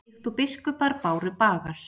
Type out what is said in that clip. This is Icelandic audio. Líkt og biskupar báru bagal?